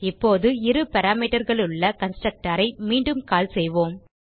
இப்போது இரு parameterகளுள்ள கன்ஸ்ட்ரக்டர் ஐ மீண்டும் கால் செய்யலாம்